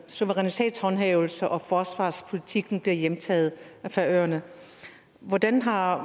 suverænitetshåndhævelsen og forsvarspolitikken bliver hjemtaget af færøerne hvordan har